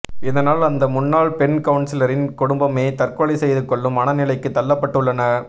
இதனால் அந்த முன்னாள் பெண் கவுன்சிலரின் குடும்பமே தற்கொலை செய்துகொள்ளும் மன நிலைக்கு தள்ளப்பட்டு உள்ளனர்